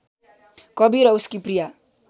कवि र उसकी प्रिया